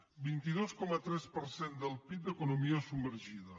el vint dos coma tres per cent del pib d’economia submergida